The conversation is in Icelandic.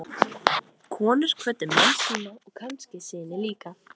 Konur kvöddu menn sína og kannski syni líka.